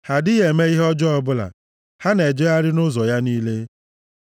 Ha adịghị eme ihe ọjọọ ọbụla; ha na-ejegharị nʼụzọ ya niile.